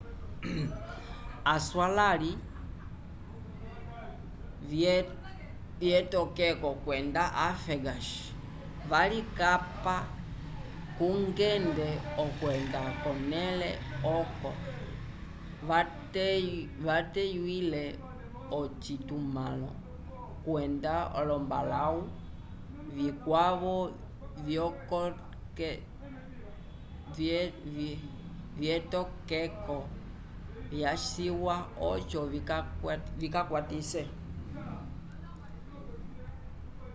aswalãli vyetokeko kwenda afegãs valikapa kungende okwenda k'onẽle oco vateywile ocitumãlo kwenda olombalãwu vikwavo vyetokeko vyaciwa oco vikakwatise